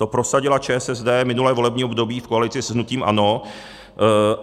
To prosadila ČSSD minulé volební období v koalici s hnutím ANO.